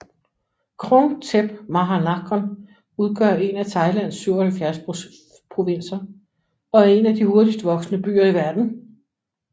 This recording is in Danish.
Krung Thep Maha Nakhon udgør en af Thailands 77 provinser og er en af de hurtigst voksende byer i verden